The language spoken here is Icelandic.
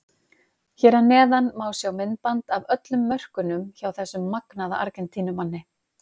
Hér að neðan má sjá myndband af öllum mörkunum hjá þessum magnaða Argentínumanni.